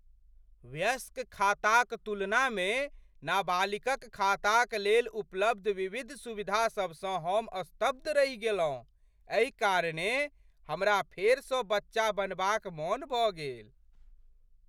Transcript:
वयस्क खाताक तुलनामे नाबालिकक खाताक लेल उपलब्ध विविध सुविधासभसँ हम स्तब्ध रहि गेलहुँ। एहि कारणेँ हमरा फेरसँ बच्चा बनबाक मन भऽ गेल।